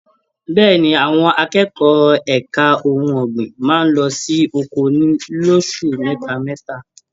Bẹ́ẹ̀ni, àwọn akẹ́kọ̀ọ́ ẹka ohùn ọgbin máa n lọ sí oko ní loṣù mẹta mẹta.